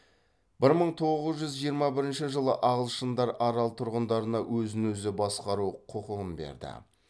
бір мың тоғыз жүз жиырма бірінші жылы ағылшындар арал тұрғындарына өзін өзі басқару құқығын берді